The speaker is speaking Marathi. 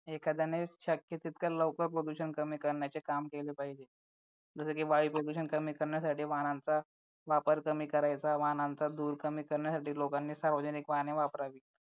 एखाद्याने शक्य तितक्या लवकर प्रदूषण कमी करण्याचे काम केले पाहिजे जसं की वायू प्रदूषण कमी करण्यासाठी वाहनांचा वापर कमी करायचा वाहनांचा धूर कमी करण्यासाठी लोकांनी सार्वजनिक वाहने वापरावे